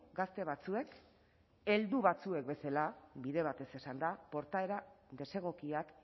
gazte batzuek heldu batzuek bezala bide batez esanda portaera desegokiak